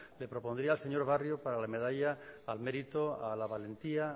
le propondría la señor barrio para la medalla al mérito a la valentía